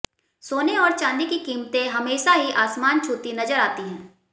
सोने और चांदी की कीमतें हमेशा ही आसमान छूती हुई नजर आती हैं